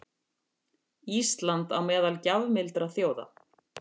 Ísland á meðal gjafmildra þjóða